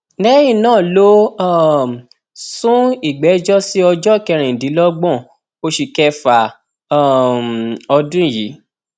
lẹyìn náà ló um sún ìgbẹjọ sí ọjọ kẹrìndínlọgbọn oṣù kẹfà um ọdún yìí